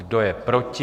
Kdo je proti?